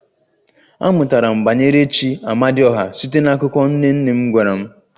Amụtara m banyere chi "Amadioha" site n'akụkọ nne nne m gwara m